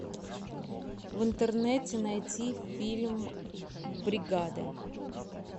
в интернете найти фильм бригада